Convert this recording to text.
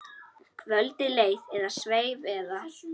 Kvöldið leið eða sveif eða.